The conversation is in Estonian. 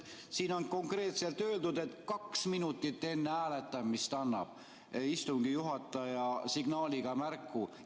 Siin on konkreetselt öeldud, et kaks minutit enne hääletamist annab istungi juhataja signaaliga märku.